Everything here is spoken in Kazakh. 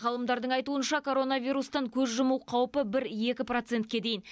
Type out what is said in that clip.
ғалымдардың айтуынша коронавирустан көз жұму қаупі бір екі процентке дейін